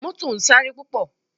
Mọ́tò ń sáré púpọ̀